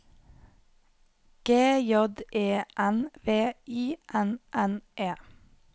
G J E N V I N N E